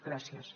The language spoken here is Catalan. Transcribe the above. gràcies